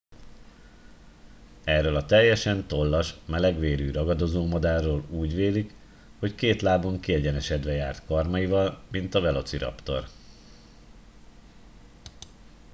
erről a teljesen tollas melegvérű ragadozómadárról úgy vélik hogy két lábon kiegyenesedve járt karmaival mint a velociraptor